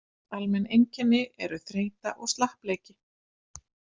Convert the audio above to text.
Almenn einkenni eru þreyta og slappleiki.